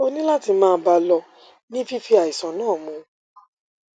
ó ní láti máa bá a lọ ní fífi àìsàn náà mu